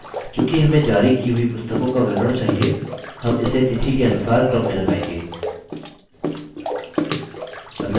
चूँकि हमें जारी की हुई पुस्तकों का विवरण चाहिए हम इसे तिथि के अनुसार क्रम में लगाएँगे